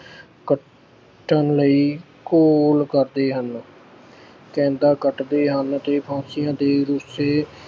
ਜਿੱਤਣ ਲਈ ਘੋਲ ਕਰਦੇ ਹਨ, ਕੈਦਾਂ ਕੱਟਦੇ ਹਨ ਤੇ ਫਾਂਸੀਆਂ ਦੇ ਰੱਸੇ